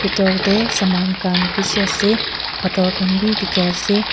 bidor de saman kan bishi ase pathor kan b diki ase.